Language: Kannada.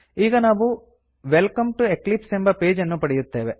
ಈಗ ನಾವು ವೆಲ್ಕಮ್ ಟಿಒ ಎಕ್ಲಿಪ್ಸ್ ಎಂಬ ಪೇಜ್ ಅನ್ನು ಪಡೆಯುತ್ತೇವೆ